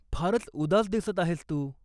फारच उदास दिसत आहेस तू.